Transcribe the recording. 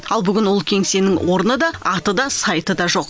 ал бүгін ол кеңсенің орны да аты да сайты да жоқ